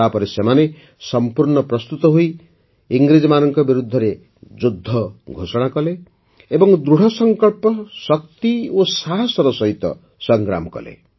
ତାପରେ ସେମାନେ ସମ୍ପୂର୍ଣ୍ଣ ପ୍ରସ୍ତୁତ ହୋଇ ଇଂରେଜମାନଙ୍କ ବିରୁଦ୍ଧରେ ଯୁଦ୍ଧ ଘୋଷଣା କଲେ ଏବଂ ଦୃଢ଼ସଂକଳ୍ପ ଶକ୍ତି ଓ ସାହସର ସହିତ ସଂଗ୍ରାମ କଲେ